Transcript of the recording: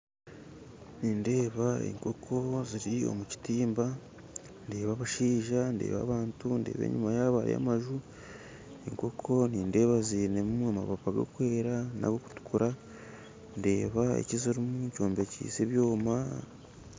Nindeeba enkoko ziri omu kitimba ndeeba abashaija ndeeba abantu ndeeba enyuma yabo hariyo amaju enkoko nindeeba zinemu amapapa gakwera nagokutukura ndeeba ekizirumu kyombekyise ebyoma.